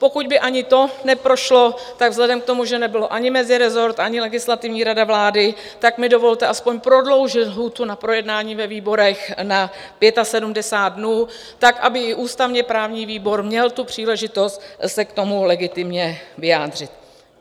Pokud by ani to neprošlo, tak vzhledem k tomu, že nebyl ani mezirezort, ani Legislativní rada vlády, tak mi dovolte aspoň prodloužit lhůtu na projednání ve výborech na 75 dnů tak, aby i ústavně-právní výbor měl tu příležitost se k tomu legitimně vyjádřit.